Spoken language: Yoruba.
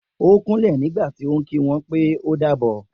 O kúnlè nígbàtí o ki wọn pè o dàbọ̀